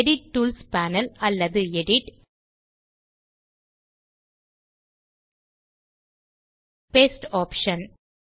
edit tools panel அல்லது edit ஜிடிஜிடி paste option